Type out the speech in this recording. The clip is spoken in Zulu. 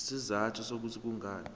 izizathu zokuthi kungani